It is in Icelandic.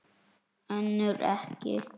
Önnur ekki.